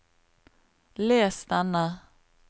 les denne